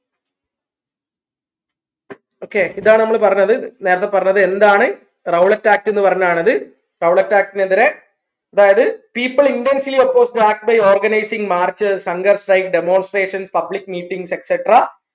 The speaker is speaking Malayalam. okay ഇതാണ് നമ്മൾ പറഞ്ഞത് നേരത്തെ പറഞ്ഞത് എന്താണ് Rowlett act ന്ന് പറഞ്ഞാണത് Rowlett act നെതിരെ അതായത് people intensly opposed act by organising march hunger strike demonstration public meetings etc